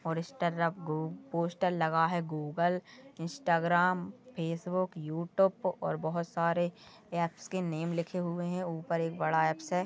और इस टरफ गू-पोस्टर लगा है गूगल इंस्टाग्राम फेसबुक यूट्यूब और बहुत सारे ऍप्स के नेम लिखे हुए है ऊपर एक बड़ा ऍप्स है।